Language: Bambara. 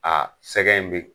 sɛgɛn in bɛ